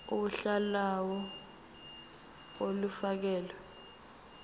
uhla lawo olufakelwe